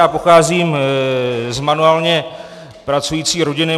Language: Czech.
Já pocházím z manuálně pracující rodiny.